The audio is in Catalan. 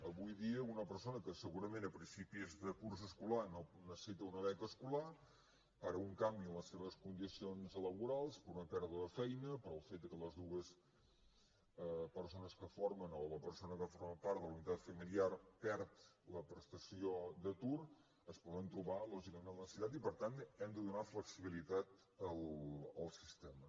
avui dia una persona que segurament a principis de curs escolar no necessita una beca escolar per un canvi en les seves condicions laborals per una pèrdua de feina pel fet que les dues persones que formen o la persona que forma part de la unitat familiar perd la prestació d’atur s’hi poden trobar lògicament en la necessitat i per tant hem de donar flexibilitat al sistema